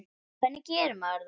Hvernig gerir maður það?